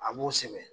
A b'o sɛbɛn